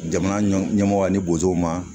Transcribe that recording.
Jamana ɲɛmɔgɔ ani bozow ma